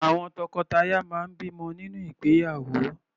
Àwọn tọkọtaya máa ń bímọ nínú ìgbéyàwó.